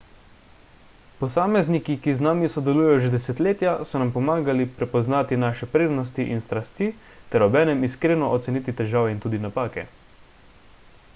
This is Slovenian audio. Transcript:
posamezniki ki z nami sodelujejo že desetletja so nam pomagali prepoznati naše prednosti in strasti ter obenem iskreno oceniti težave in tudi napake